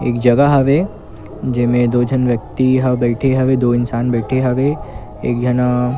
एक जगह हवे जेमे दो झन व्यक्ति बैठे हवे दो इनास बैठे हवे एक झन--